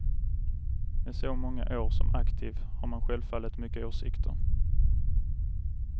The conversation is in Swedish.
Med så många år som aktiv har man självfallet mycket åsikter.